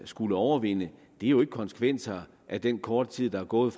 skal overvinde er jo ikke konsekvenser af den korte tid der er gået